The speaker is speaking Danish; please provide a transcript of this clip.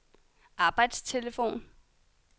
arbejdstelefon